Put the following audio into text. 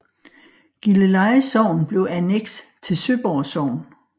Gilleleje Sogn blev anneks til Søborg Sogn